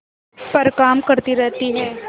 पर काम करती रहती है